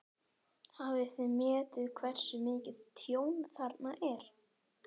Hafið þið metið hversu mikið tjón þarna er?